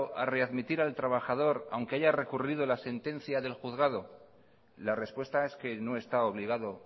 a readmitir al trabajador aunque haya recurrido la sentencia del juzgado la respuesta es que no está obligado